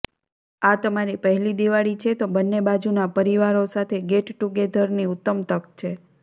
આ તમારી પહેલી દિવાળી છે તો બન્ને બાજુના પરિવારો સાથે ગેટ ટુગેધરની ઉત્તમ તક છે